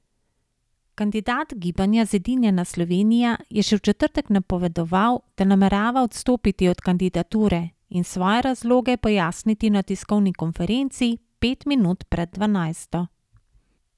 Kandidat Gibanja Zedinjena Slovenija je še v četrtek napovedoval, da namerava odstopiti od kandidature in svoje razloge pojasniti na tiskovni konferenci pet minut pred dvanajsto.